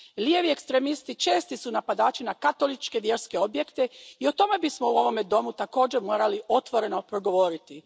Lijevi ekstremisti česti su napadači na katoličke vjerske objekte i o tome bismo u ovome domu također morali otvoreno progovoriti.